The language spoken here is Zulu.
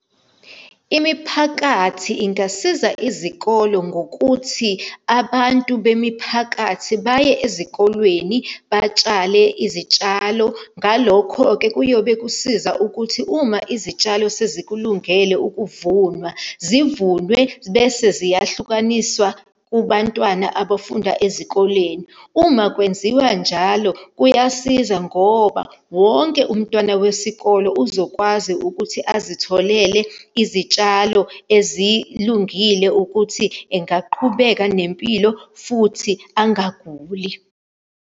Imiphakathi ingasiza izikolo ngokuthi, abantu bemiphakathi baye ezikolweni batshale izitshalo. Ngalokho-ke kuyobe kusiza ukuthi uma izitshalo sezikulungele ukuthi ukuvunwa, zivunwe, bese ziyahlukaniswa kubantwana abafunda ezikoleni. Uma kwenziwa njalo kuyasiza ngoba, wonke umntwana wesikolo uzokwazi ukuthi azitholele izitshalo ezilungile ukuthi engaqhubeka nempilo futhi angaguli.